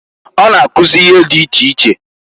O na-akụzị ihe di iche iche.